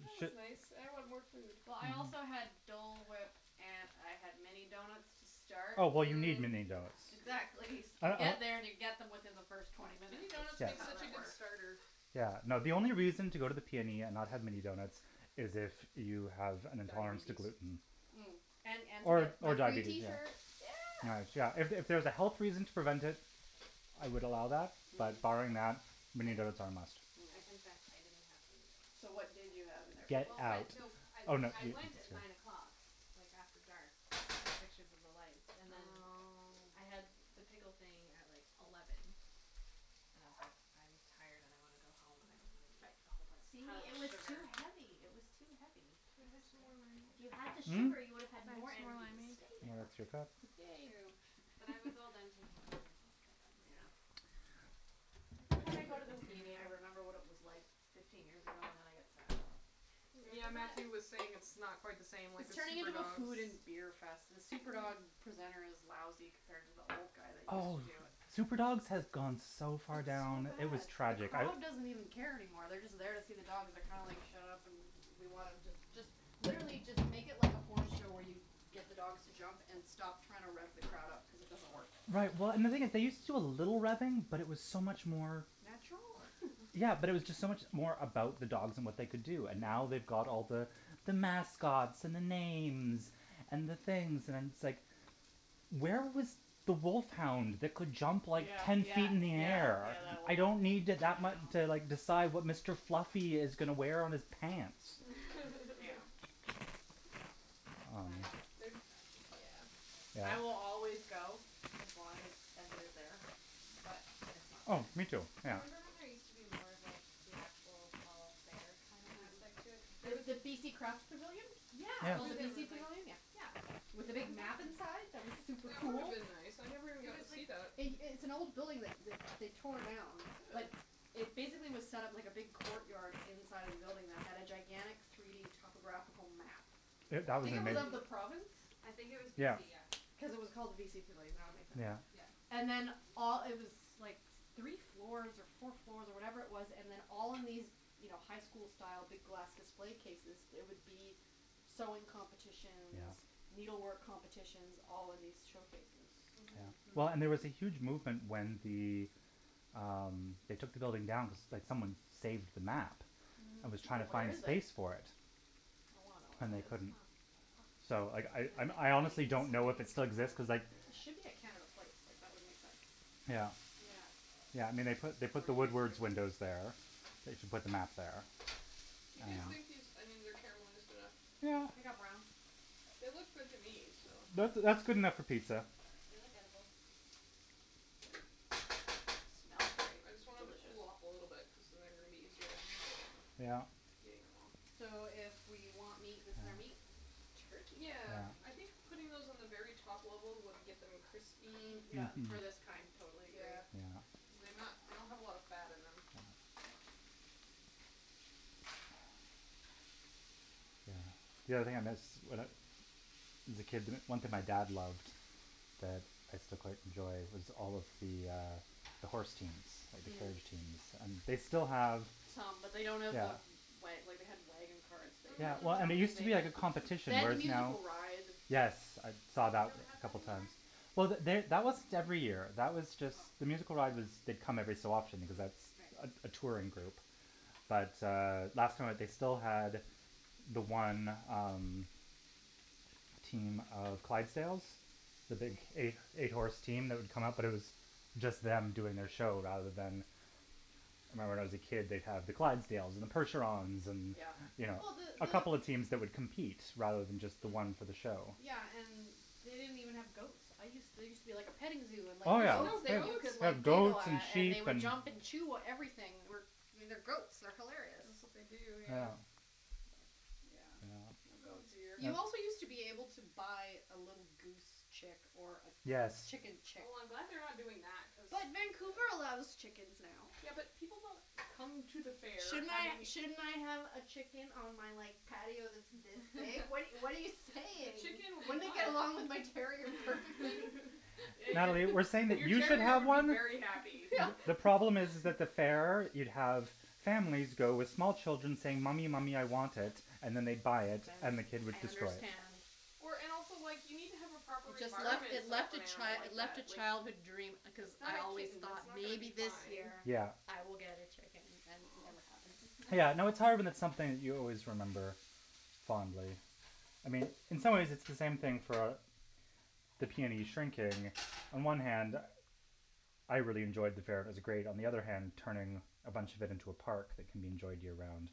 That was nice. I want more food. Well, I also had Dole whip and I had mini donuts to start. Oh, well you need mini donuts. Exactly. You get there and you get them within the first twenty minutes. Mini donuts Yeah, That's make how such a that good works. starter. yeah, no, the only reason to go to the PNE and not have mini donuts is if you have an intolerance to Diabetes. gluten. Mm. And Or or my free diabetes, tee yeah. shirt. Yeah. Yeah, if it was a health reason to prevent it, I would allow that, but barring Mm. that, mini donuts are a must. I Mm. confess, I didn't have any donuts. So what did you have in their Get place? Well, out. but no I I went at nine o'clock like after dark to take pictures of the lights and then. Oh. I had the pickle thing at like eleven and I was like I'm tired and I want to go home and I don't want to eat a whole See, pile of it was too sugar. heavy, it was too heavy. Can It was I have good, some more wine? If you had the though. Hm? sugar, you would Can I have had have some more more energy to wine, stay babe? there. That's your cup. True, Babe but I was all done taking pictures and was like I'm just Yeah. gonna go. Every time I go to the PNE, I remember what it was like fifteen years ago and then I get sad. Do you Yeah, remember that? Matthew was saying it's not quite the same, like the It's turning super into a dogs. food and beer fest. The super dog presenter is lousy compared to the old guy that used to Oh. do it. Super dogs has gone so far It's so down, it was bad. The tragic. crowd doesn't even care anymore. They're just there to see the dogs. They're kind of like shut up and we want them just just literally just make it like a horse show where you get the dogs to jump and stop trying to rev the crowd up cuz it doesn't work. Right, well, and the thing is they used to do a little revving, but it was so much more. Natural? Yeah, but it was just so much more about the dogs and what they could do, and now they've Mm. got all the the mascots and the names and the things and it's like where was the wolf hound that could jump like Yeah, ten yeah, feet up in the yeah, air. yeah that one. I I know. don't need to like decide what Mr. Fluffy is going to wear on his pants. Glad I missed the super dogs this year. Yeah. I will always go as long as as it is there. But it's not Oh, me too. there. Yeah. Remember when there used to be more of like the actual fall fair kind of aspect to it? Mhm. The the BC Craft Pavilion? It's Yeah. called the Yeah BC Pavilion? Yeah. Yeah. With the big map Exactly. inside that was super That would have cool? been nice. I never even It got to was like see that. It it's an old building that that they tore down. Really? That it basically was set up like a big court yard inside of the building that had a gigantic three d topographical map. it of the province? I think it was Yeah. BC, yeah. Because it was called the BC Pavilion. That would make sense. Yeah. Yeah. And then all it was like three floors or four floors or whatever it was and then all in these, you know, high school style big glass display cases there would be sewing competitions. Yeah. Needle work competitions all in these showcases. Yeah. Mhm. Well, and there was a huge movement when the um they took the building down that someone saved the map. That Mhm. was So trying to where find is it? space for it. I wanna know where And that they is. couldn't. Huh. So I I I honestly don't know if it still exists cuz like It should be at Canada Place, like, that would make sense. Yeah. Yeah. Yeah, I mean, they put the Woodward's windows there. I think they put the map there. You Yeah. guys Yeah. think these onions are caramelized enough? Yeah, they got brown. They look good to me, so. That's that's good enough for pizza. They look edible. Smells very I just want them to delicious. cool off a little bit cuz then they're going to be easier to handle them. Yeah. Getting them out. So if we want meat, this is our meat? Turkey Yeah. pepperoni? Yeah. I think putting those on the very top level would get them crispy. Mm, Yeah. yeah, for this kind, totally agree. Yeah, because they not they don't have a lot of fat in them. Yeah. The only thing I miss as a kid, one thing my dad loved that I still quite enjoy was all of the uh the horse teams, at the fair, Mm. teams. And they still have Some, but they don't have Yeah. the Wa- like they had wagon carts that Yeah, well, I mean, it used Mhm. to be like a had. competition They had the whereas now musical ride. Yes, I Oh saw they that don't have a that couple anymore? times. Well, they that wasn't every year. That was just the Oh. musical ride was they come every so often cuz Mm. that's Mhm, right. a touring group. But uh last time that they still had the one um team of Clydesdales, the big eight eight horse team that would come up, but it was just them doing their show rather than I remember when I was a kid, they'd have the Clydesdales and the percherons and, Yeah. you Yeah. know. Well, the A couple of teams that would compete rather than just the one for the Mm. show. Yeah, and they didn't even have goats. I used there used to be like a petting zoo and like Oh, There's yeah. goats no that you goats? could Like like giggle goats, and at and they sheep, would and jump and chew everything. I mean, they're goats, they're hilarious. That's what they do, Yeah. yeah. But, yeah, Yeah. no Oh goats. dear. Yeah. You also used to be able to buy a little goose chick. Or a Yes. chicken chick. Oh, I'm glad they're not doing that cuz But Vancouver allows chickens now. Yeah, but people don't come to the fair Shouldn't I having shouldn't I have a chicken on my like patio that's this big? What what are you what are But you saying? chicken would Wouldn't not it get along with my terrier perfectly? Natalie, we're saying Your that your you should terrier have would be one. very happy. The problem is is that the fair you'd have families go with small children saying, "Mommy, mommy, I want it," and then they'd buy it, then the kid would I destroy it. understand. Or and also like, you need to have a proper Just left environment it set up for left an a animal chi- it like left that, a like childhood dream because It's not I a always kitten, it's thought not gonna maybe be this fine. year Yeah. I will get a chicken and it never happened. Yeah, no, it's hard when it's something you always remember fondly. I mean, in some ways it's the same thing for a the PNE On one hand I really enjoyed the fair, it was great. On the other hand, turning a bunch of it into a park that can be enjoyed year round.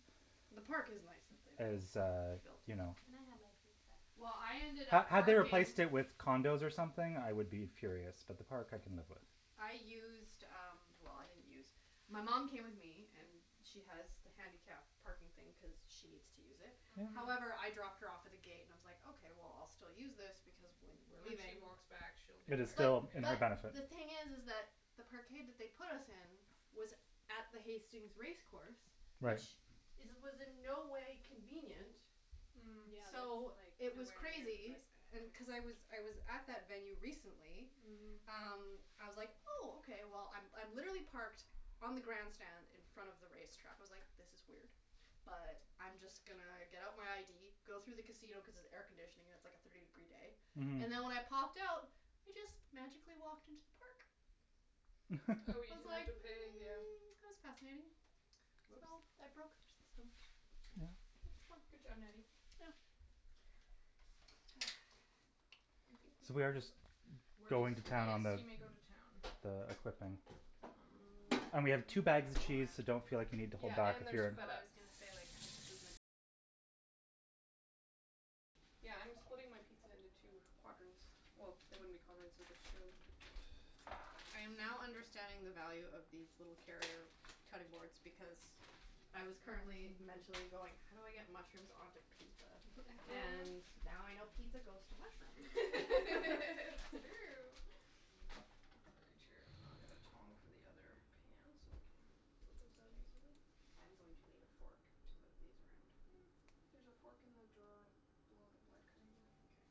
The park is nice that they built. Is uh, you know Can I have my pizza? Well, I ended Had up had they parking replaced it with condos or something, I would be furious, but the park I can live with. I used um, well, I didn't use My mom came with me and she has the handicap parking thing cuz she needs to use it. Mhm. However, I dropped her off at the gate and I was like, okay, well, I'll still use this because when we're When she leaving. walks back she'll be It is tired still in her But benefit. the thing is is that the parkade that they put us in was at the Hastings race course. Right. Which is was in no way convenient. Mm. Mm, yeah, that's So like it was nowhere near the crazy. best And cuz I effort. was I was at that venue recently Mhm. um, I was like, "Oh, okay." Well, I I'm literally parked on the grandstand in front of the race track. I was like, this is weird, but I'm just gonna get out my ID, go through the casino cuz it's air conditioning, it's like a thirty degree day. Mhm. And then when I popped out, I just magically walked into the park. Oh, I you was didn't have like to pay, yeah. mm, that was fascinating. So, Whoops. I broke their system. Yes. It was fun. Good job, Natty. Yeah. So we are just We're going to just town Yes, on the you may go to town. Mm. I And we dunno have two what bags of I cheese, so want. don't feel like you need to Yeah, hold back and if there's you're feta. Yeah, I'm splitting my pizza into two quadrants. Well, they wouldn't be quadrants if there's two. I am now understanding the value of these little carrier cutting boards because I was currently mentally going how do I get mushrooms onto pizza? And now I know pizza goes to mushrooms. It's true. It's very true. I'll get the tong for the other pan so we can get those out easily. I am going to need a fork to move these around. There's a fork in the drawer below the black cutting board here. Okay.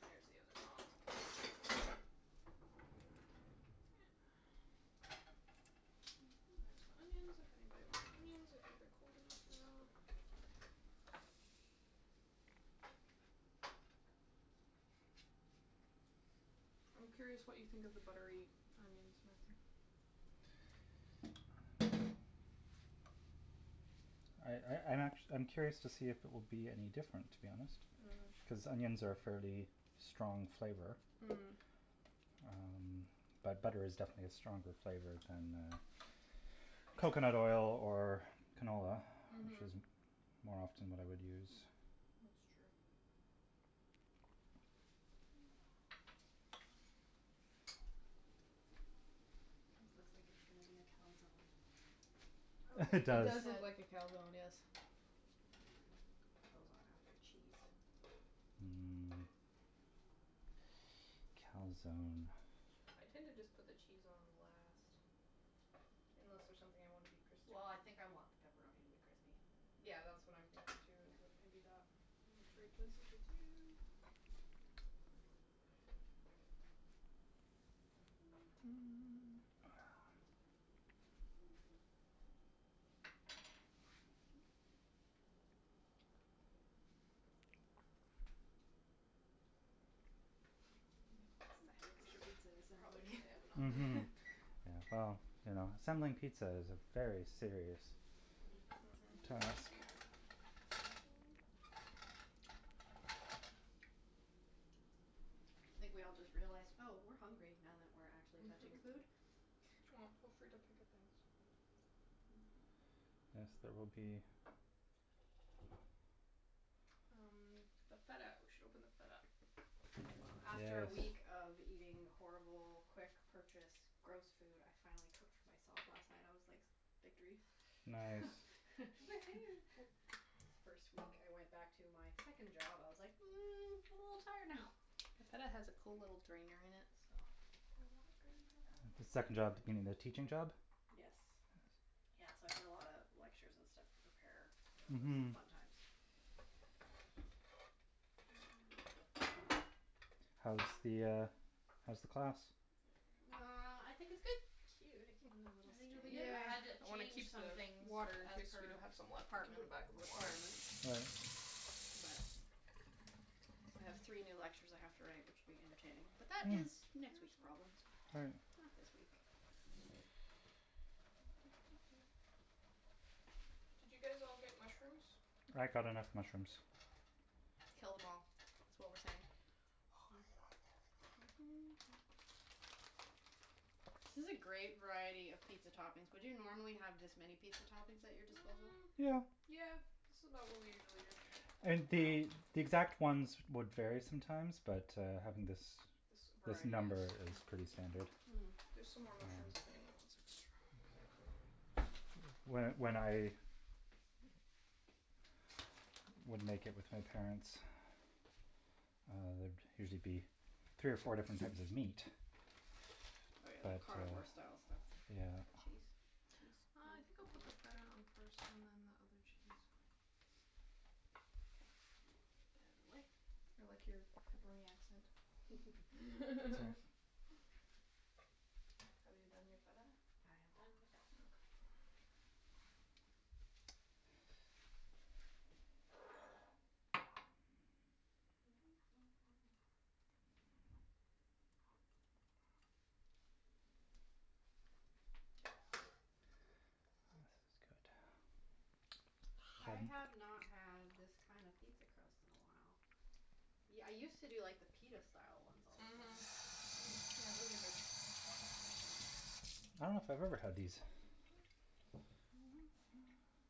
There's the other tong. And there's onions if anybody wants onions. I think they're cold enough now. I'm curious what you think of the buttery onions, Matthew. I I I'm actu- I'm curious to see if it will be any different, to be honest. Mhm. Cuz onions are a fairly strong flavor. Mm. Um, but butter is definitely a stronger flavor than coconut oil or canola. Which Mhm. is more often what I would use. That''s true. This looks like it's gonna be a calzone. Oh It like It does. you does look said like a calzone, yes. Put those on after cheese. Mmm. Calzone. I tend to just put the cheese on last. Unless there's something I wanna be crispy. Well, I think I want the pepperoni to be crispy. Yeah, that's what I'm thinking, too, is that maybe that I will trade places with you. The silence We of should pizza probably turn assembly. the oven on now. Mhm. Yeah, well, you know, assembling pizza is a very serious Mhm. task. Thank you. I think we all just realized, "Oh, we're hungry now that we're actually touching food." Well, feel free to pick up things. Yes, there will be. Um, the feta We should open the feta. Wow. After a week Yes. of eating horrible quick purchased gross food, I finally cooked for myself last night. I was like victory. Nice. Woohoo. It's the first week I went back to my second job. I was like, "Mm, I'm a little tired now." The feta has a cool little drainer in it, so Do I want green pepper? The I second job dunno being the teaching job? what Yes. Yes. Yeah, so I had a lot of lectures and stuff to prepare. That was Mhm. fun times. How's the uh how's the class? There we go. Well, I think it's good. I think it'll be good. Cute, it came with a little strainer? I Yeah, had to I want to change keep the some things water. In of case we do her have some left we can put it department back in the water. requirements. Right. But so I have three new lectures I have to write, which will be entertaining, but that is next week's problems. All right. Not this week. Did you guys all get mushrooms? I got enough mushrooms. Mkay. Kill them all, is what we're saying. Oh my god. This is a great variety of pizza toppings. Would you normally have this many pizza toppings at your disposal? Mm, Yeah. yeah. This is about what we usually do. And the Wow. the exact ones would vary sometimes but, uh, having this This this variety number is is pretty standard. Mm. There's some more mushrooms Um if anyone wants extra. When when I would make it with my parents, uh, there'd usually be three or four different types of meat. Oh, yeah, that But, uh carnivore style stuff. Yeah. Cheese? Cheese? Uh, I think I'll put the feta on it first and then the other cheese. K, we'll get out of the way. I like your pepperoni accent. Have you done your feta? I have done the feta. Okay. This is good. I have not had this kind of pizza crust in a while. Yeah, I used to do like the pita style ones all the time. Mhm. Yeah, those are good. I dunno if I've ever had these.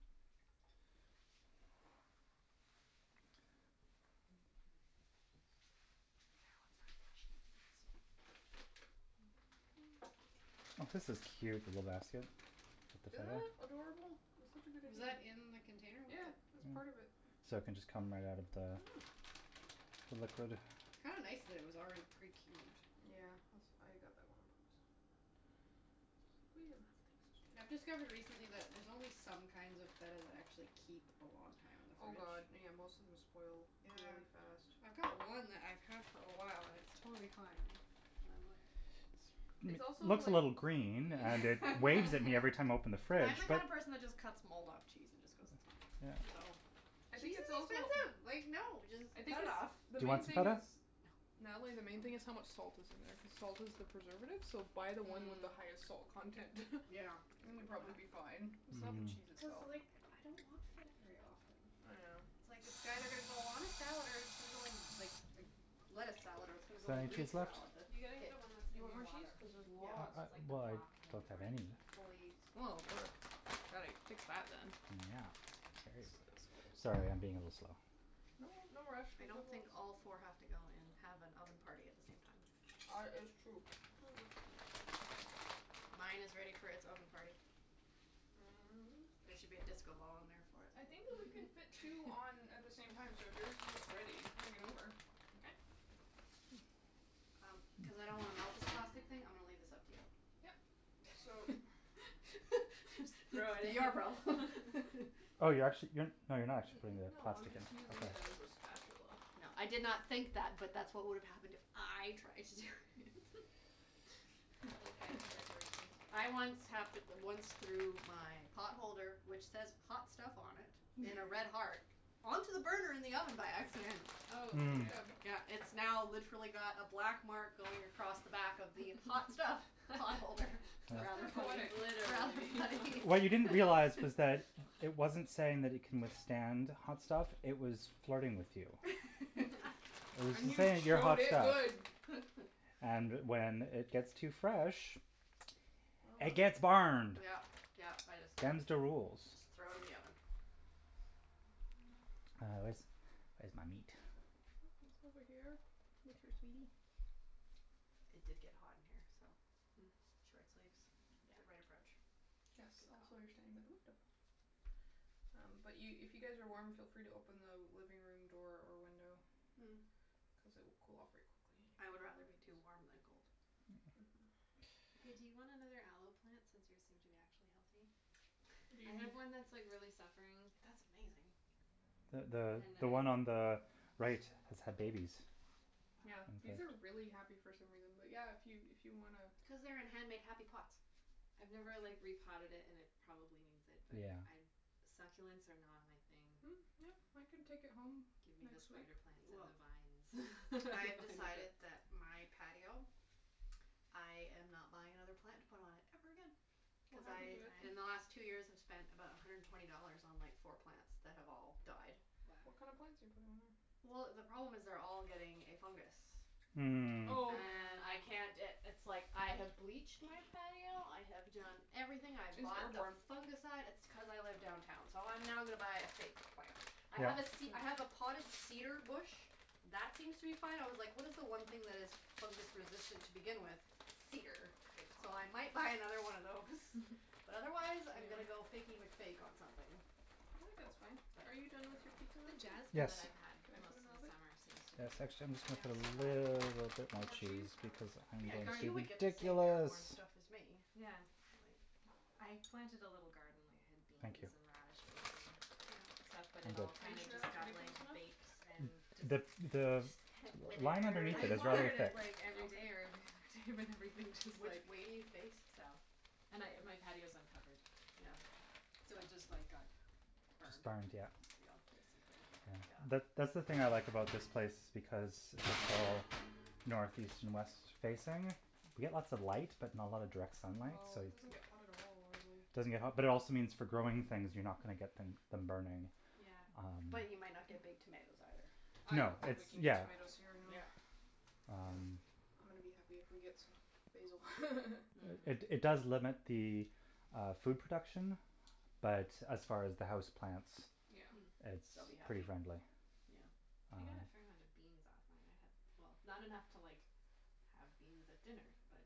Okay, just Oh, this is cute the little basket with the Isn't feta. that adorable? It's such a good Was idea. that in the container with Yeah, the it was part of it. So it can just come right out of the the liquid. Kinda nice that it was already pre-cubed. Yeah, als- I got that one on purpose. We have enough I've things to do. discovered recently that there's only some kinds of feta that actually keep a long time in the Oh, fridge. god, yeah. Most of them spoil Yeah. really fast. I've got one that I've had for a while and it's totally fine. I'm like It's also Looks a like little green and it it's waves at me every time I open the fridge I'm the but kind of person that just cuts mold off cheese and just goes, "It's fine." Yeah. I think Cheese it's is also expensive, like, no, just I think cut it it's, off. Do the you main want some thing feta? is No. Natalie, the main thing this is how much salt is in there cuz salt is the preservative, so buy the one with Mm. the highest salt content. Yeah. It's And a you'll good probably be point. fine. It's not the cheese Mm. Cuz, itself. like, I don't want feta very often. Yeah. It's like, it's either gonna go on a salad or it's gonna go in like a lettuce salad or it's gonna Is go there in a any Greek cheese left? salad, that's You gotta get it. the one that's Do you in want the more cheese? water, Cuz there's Yeah. lots. where it's like the Well, I block in don't the have brine any. stuff. Fully Well, gotta fix that, then. Yeah, cherries. Sorry, I'm being a little slow. No, no rush, we I have don't think lots. all four have to go in and have an oven party at the same time. Ar- it's true. Mine is ready for its oven party. There should be a disco ball in there for it. I think that we can fit two on at the same time, so if yours is ready, bring it over. Okay. Um, cuz I don't wanna melt this plastic thing, I'm gonna leave this up to you. Yep. So Your problem. Oh, you're actu- you're No, you're not actually putting the No, I'm plastic in, just using okay. it as a spatula. No, I did not think that, but that's what would have happened if I tried to do it. I like to make decorations. I once hap- once threw my pot holder, which says "hot stuff" on it in a red heart, onto the burner in the oven by accident. Good Mm. job. Yeah, it's now literally got a black mark going across the back of the "hot stuff" pot holder. That's kind Rather of funny. poetic. Rather Literally. funny. What you didn't realize was that it wasn't saying that it can withstand hot stuff; it was flirting with you. It was And just you saying you're showed hot it stuff. good. And when it gets too fresh, it gets burned. Yeah, yeah, I just Them's the rules. Just throw in the oven. Uh, where's, where's my meat? It's over here with your sweetie. It did get hot in here, so short sleeves, Yeah. the right approach. Yes, Good call. also you're standing by the window. Um, but you, if you guys are warm, feel free to open the living room door or window cuz it will cool off very quickly in Hm, I would here. rather be too warm than cold. Mhm. Hey, do you want another aloe plant since yours seem to be actually healthy? What do I you need? have one that's, like, really suffering. That's amazing. The the And I the one on the right has had babies. Yeah, In Wow. these are fact. really happy for some reason, but yeah, if you, if you wanna Cuz they're in hand made happy pots. I've never, That's true. like, repotted it and it probably needs it. But Yeah. I, succulents are not my thing. Mm, yeah, I can take it home Give me the next week. spider plants and the vines. I've I'm fine with decided it. that my patio, I am not buying another plant to put on it ever again. What happened Because to it? In the they last two die? years I've spent about a hundred and twenty dollars on like four plants that have all died. Wow. What kind of plants are you putting in there? Well, the problem is they're all getting a fungus. Mm. Oh. Oh. And I can't i- it's, like, I have bleached my patio, I have done everything. I have It's bought the airborne. fungicide. It's t- cuz I live downtown, so I'm now gonna buy a fake plant. I Yeah. have a ce- I have a Hm. potted cedar bush that seems to be fine. I was like what is the one thing that is fungus-resistant to begin with? Cedar. Good So call. I might buy another one of those. But otherwise I'm gonna Yeah. go Fakey McFake on something. I think that's fine. Are you done with your pizza, The Matthew? jasmine that Yes. I've had Can I put most in the of the oven? summer seems to be Yes, not actually, so I'm just gonna put a bad, you little know. bit more More cheese? cheese because I'm Yeah, going cuz to be you would get the same ridiculous. airborne stuff as me. Yeah. I planted a little garden. I had Thank you. beans and radishes and stuff, but I'm it good. all Are you kinda sure just that's got like ridiculous enough? baked and just The, the line Withered. underneath I it is really watered it, thick. like, every day or Okay. every other day, but everything just, like Which way do you face? South. And I, my patio is uncovered. Yeah. So it just like got Just burned. burned, yeah. Yeah, Yeah. basically. Yeah. That, Yeah. that's the thing I like about this place because it's all north, east and west facing. We get lots of light, but not a lot of direct sunlight, No, so it it doesn't get hot at all, really. doesn't get hot, but it also means for growing things you're not gonna get them them burning. Yeah. Um But you might not get big tomatoes, either. I No, don't think it's, we can get yeah. tomatoes here anyway. Yeah. Yeah. Um I'm gonna be happy if we get some basil. It, it Hm. does limit the uh food production, but as far as the house plants Yeah. Hm. it's They'll be pretty happy. friendly. Yeah. Um I got a fair amount of beans off mine, I had Well, not enough to like have beans at dinner, but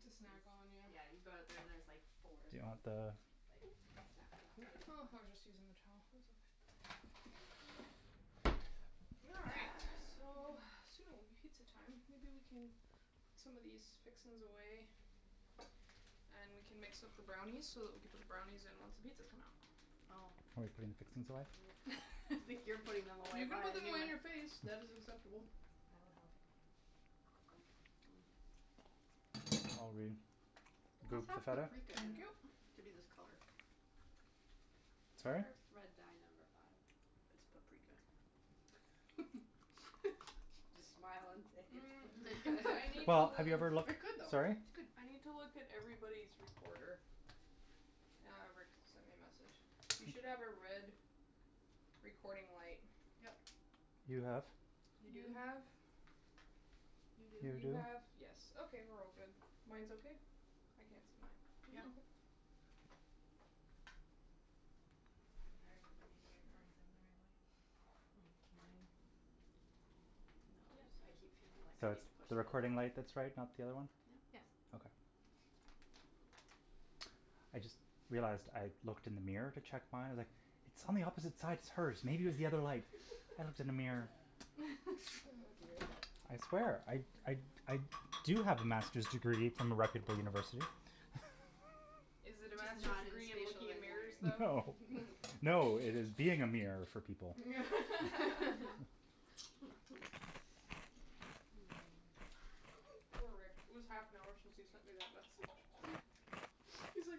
To snack on, was yeah. Yeah, you go out there and there's, like, four Do you green want the beans, just, like, snap them off and eat Oh, them. I was just using the towel, it's okay. All right. So, soon it will be pizza time. Maybe we can put some of these fixings away and we can mix up the brownies so that we can put the brownies in once the pizzas come out. Oh. Oh, we're putting fixings away? I think you're putting them away, You can buy put a them new away in one. your face. That is acceptable. I will help. Are we It good must with the have feta? paprika in Thank you. it to be this color. Sorry? Or Red Dye Number Five. It's paprika. Just smile and say it's Mm, paprika. I need Well, have you ever to looked, It could though. sorry? It's good. I need to look at everybody's recorder. Ah, Rick sent me a message. You should have a red recording light. Yep. You have. You You do? have You You You do. do? have, yes, okay, we're all good. Mine's okay? I can't see mine. Yeah. Okay. Are All everybody's right. earphones in the right way? Mm, mine. No they just I keep feeling like So I need to it's push the them in more. recording light that's right, not the other one? Yeah. Yes. Okay. I just realized I looked in the mirror to check my, like It's on the opposite side, it's hers, maybe it was the other light. I looked in the mirror. Oh dear. I swear I, I, I do have a master's degree from a reputable university. Is it a Just master's not in degree in spacial looking in mirrors, engineering. though? No. No, it is being a mirror for people. Poor Rick. It was half an hour since he sent me that message. He's like,